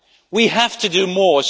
We have to do more.